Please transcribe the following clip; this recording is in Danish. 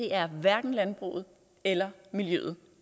er hverken landbruget eller miljøet